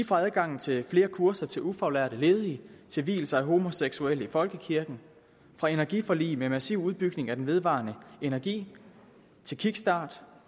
fra adgang til flere kurser til ufaglærte ledige til vielse af homoseksuelle i folkekirken fra energiforlig med massiv udbygning af den vedvarende energi til kickstart